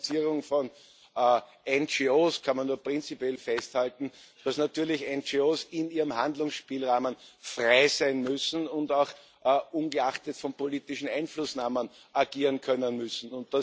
Aber zur Finanzierung von NGOs kann man nur prinzipiell festhalten, dass natürlich NGOs in ihrem Handlungsspielrahmen frei sein und auch ungeachtet von politischen Einflussnahmen agieren können müssen.